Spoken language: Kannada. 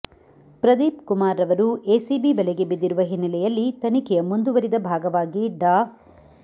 ಪ್ರದೀಪ್ ಕುಮಾರ್ರವರು ಎಸಿಬಿ ಬಲೆಗೆ ಬಿದ್ದಿರುವ ಹಿನ್ನೆಲೆಯಲ್ಲಿ ತನಿಖೆಯ ಮುಂದುವರಿದ ಭಾಗವಾಗಿ ಡಾ